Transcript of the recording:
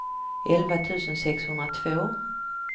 elva tusen sexhundratvå